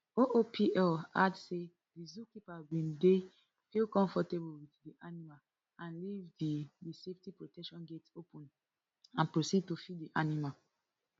oopl add say di zookeeper bin dey feel comfortable wit di animal and leave di di safety protection gate open and proceed to feed di animal